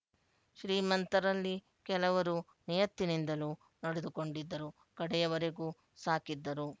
ಶ್ರೀಮಂತರಲ್ಲಿ ಕೆಲವರು ನಿಯತ್ತಿನಿಂದಲೂ ನಡೆದುಕೊಂಡಿದ್ದರು ಕಡೆಯವರೆಗೂ ಸಾಕಿದ್ದರು